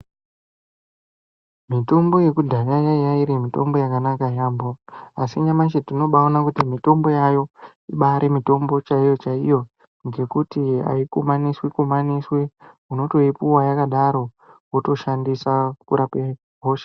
Mitombo yekudhaya yayirimitombo yakanaka yaambo ,asi nyamashi tinobawona kuti mitombo yayo ibaremitombo chaiyo iyo, nekuti hayikumaniswe kumaniswe, unotoyipuwa yakadaro wotoshandisa kurapa hosha.